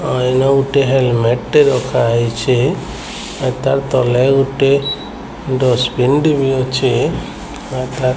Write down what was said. N ଗୋଟେ helmet ଟେ ରଖାହେଇଛି ତା ତଲେ ଗୋଟେ ଡଷ୍ଟପିନ୍ ଟେ ବି ଅଛି ଆଉ ତା --